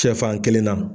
Sɛfan kelen na